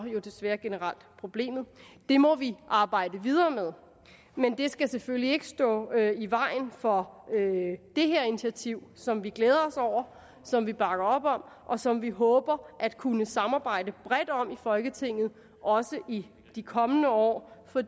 desværre generelt problemet det må vi arbejde videre med men det skal selvfølgelig ikke stå i vejen for det her initiativ som vi glæder os over som vi bakker op om og som vi håber at kunne samarbejde bredt om i folketinget også i de kommende år for